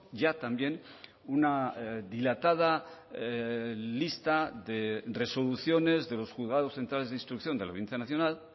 ya también una dilatada lista de resoluciones de los juzgados centrales de instrucción de la audiencia nacional